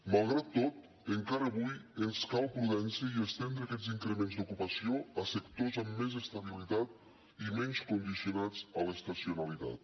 malgrat tot encara avui ens cal prudència i estendre aquests increments d’ocupació a sectors amb més estabilitat i menys condicionats a l’estacionalitat